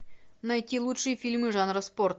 найти лучшие фильмы жанра спорт